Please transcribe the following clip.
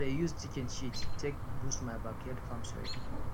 i dey use chicken shit take boost my backyard farm soil